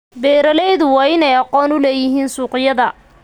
Beeraleydu waa inay aqoon u leeyihiin suuqyada.